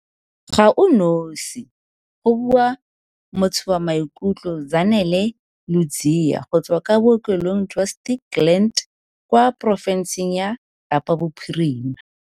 "Ga o nosi," go bua mothobamaikutlo Zanele Ludziya go tswa kwa Bookelong jwa Stikland kwa porofenseng ya Kapa Bophirima.